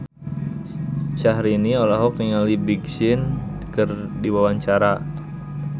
Syahrini olohok ningali Big Sean keur diwawancara